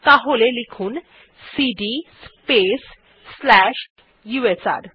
তাহলে লিখুন cd space slash USR